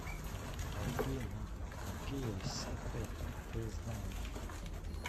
афина какие сите ты знаешь